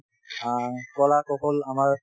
অ কলা কৌশল আমাৰ